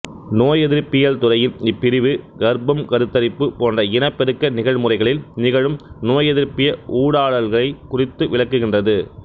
நோயெதிர்ப்பியல் துறையின் இப்பிரிவு கருப்பம் கருத்தரிப்பு போன்ற இனப்பெருக்க நிகழ்முறைகளில் நிகழும் நோயெதிர்ப்பிய ஊடாடல்களைக் குறித்து விளக்குகின்றது